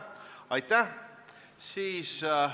Aitäh!